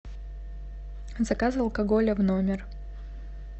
заказа алкоголя в номер